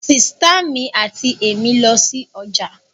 Sìtá mi àti èmí lọ sí ọjà